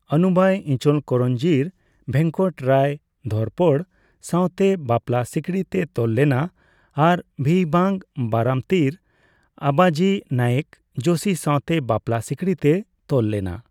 ᱟᱱᱩᱵᱟᱭ ᱤᱪᱚᱞᱠᱚᱨᱚᱧᱡᱤᱨ ᱵᱷᱮᱝᱠᱚᱴᱨᱟᱣ ᱜᱷᱳᱨᱯᱚᱲ ᱥᱟᱸᱣᱛᱮ ᱵᱟᱯᱞᱟ ᱥᱤᱠᱲᱤ ᱛᱮ ᱛᱚᱞ ᱞᱮᱱᱟ ᱟᱨ ᱵᱷᱤᱣᱵᱟᱝ ᱵᱟᱨᱟᱢᱛᱤᱨ ᱟᱵᱟᱡᱤ ᱱᱟᱭᱮᱠ ᱡᱳᱥᱤ ᱥᱟᱸᱣᱛᱮ ᱵᱟᱯᱞᱟ ᱥᱤᱠᱲᱤᱛᱮ ᱛᱚᱞ ᱞᱮᱱᱟ ᱾